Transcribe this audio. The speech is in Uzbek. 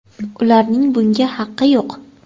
Ularning bunga haqi yo‘q.